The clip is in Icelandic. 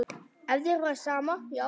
Ef þér væri sama, já.